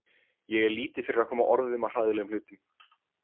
Ég er lítið fyrir að koma orðum að hræðilegum hlutum.